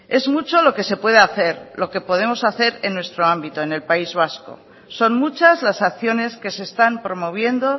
es mucho lo que se puede hacer lo que podemos hacer en nuestro ámbito en el país vasco son muchas las acciones que se están promoviendo